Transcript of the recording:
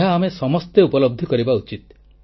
ଏହା ଆମେ ସମସ୍ତେ ଉପଲବ୍ଧି କରିବା ଉଚିତ